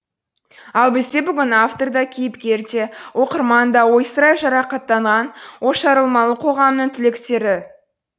ал бізде бүгін автор да кейіпкер де оқырман да ойсырай жарақаттанған ошарылмалы қоғамның түлектері